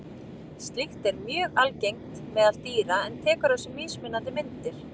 Slíkt er mjög algengt meðal dýra en tekur á sig mismunandi myndir.